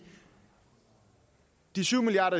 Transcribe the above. de syv milliard